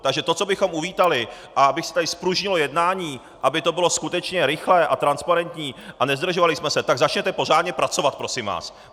Takže to, co bychom uvítali, a aby se tady zpružnilo jednání, aby to bylo skutečně rychlé a transparentní a nezdržovali jsme se, tak začněte pořádně pracovat prosím vás.